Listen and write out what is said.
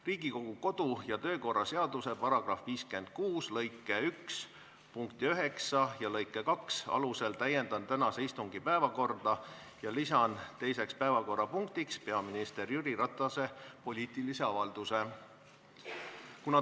Riigikogu kodu- ja töökorra seaduse § 56 lõike 1 punkti 9 ja lõike 2 alusel täiendan tänase istungi päevakorda ning lisan teiseks päevakorrapunktiks peaminister Jüri Ratase poliitilise avalduse.